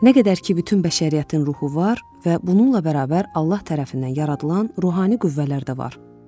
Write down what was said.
Nə qədər ki, bütün bəşəriyyətin ruhu var və bununla bərabər Allah tərəfindən yaradılan ruhani qüvvələr də var.